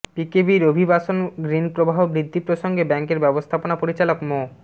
পিকেবির অভিবাসন ঋণপ্রবাহ বৃদ্ধি প্রসঙ্গে ব্যাংকের ব্যবস্থাপনা পরিচালক মো